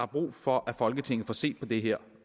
brug for at folketinget får set på det her